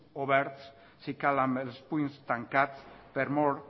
oberts si cal amb els punys tancats per mor